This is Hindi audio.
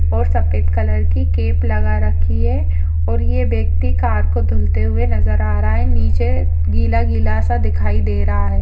और सफेद कलर की कैप लगा रखी है और यह व्यक्ति कार को धुलते हुए नजर आ रहा है। नीचे गीला-गीला सा दिखाई दे रहा है।